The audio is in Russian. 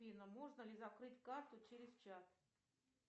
афина можно ли закрыть карту через чат